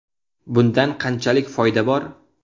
Bundan qanchalik foyda bor?